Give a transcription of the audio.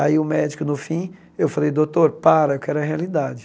Aí o médico, no fim, eu falei, doutor, para, eu quero a realidade.